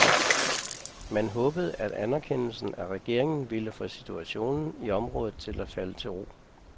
Man håbede, at anerkendelsen af regeringen ville få situationen i området til at falde til ro.